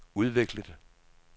udviklet